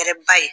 Kɛrɛba ye